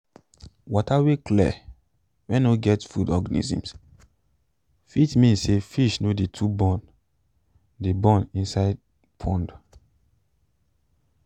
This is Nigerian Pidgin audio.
water wey clear wen no get food organism fit mean say fish no too de born de born inside pond